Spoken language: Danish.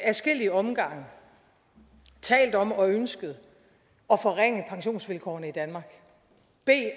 adskillige omgange talt om og ønsket at forringe pensionsvilkårene i danmark